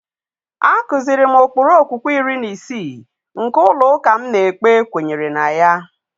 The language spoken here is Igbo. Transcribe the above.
A kụziiri m ụkpụrụ okwukwe iri na isii nke ụlọ ụka m na-ekpe kwenyere na ya.